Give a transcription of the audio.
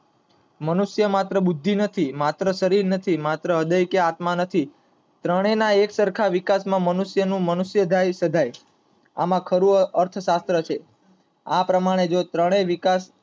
મનુષ્ય માત્ર બુદ્ધિ નથી, માત્ર શરીર નથી, માત્ર હ્રદય કે આત્મા નથી, ત્રણેય ના વિકાસ માં મનુષ્ય નું મનુષ્યદાયી સદાયઆમ અર્થશાહસ્ત્ર છે આ પ્રમાણે જો ત્રણેય